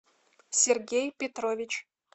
сергей петрович